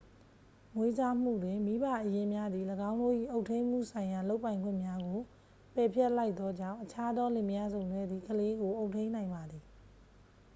မွေးစားမှုတွင် မိဘအရင်းများသည် ၎င်းတို့၏အုပ်ထိန်းမှုဆိုင်ရာလုပ်ပိုင်ခွင့်များကို ပယ်ဖျက်လိုက်သောကြောင့် အခြားသောလင်မယားစုံတွဲသည် ကလေးကို အုပ်ထိန်းနိုင်ပါသည်